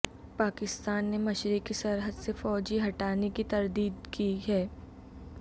پاکستان نے مشرقی سرحد سے فوجیں ہٹانے کی تردید کی ہے